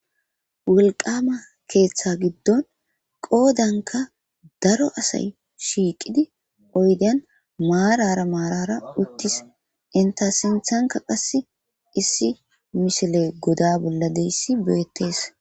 Woliqqama ketha gidon qodanika daro asay shiqidi oyideyan mara mara utis enita sinithanika qasi issi misiley godabolla de'eyis betes